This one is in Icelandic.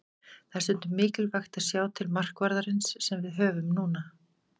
Það er stundum ægilegt að sjá til markvarðarins sem við höfum núna.